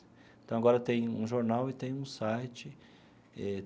Então, agora tem um jornal e tem um site.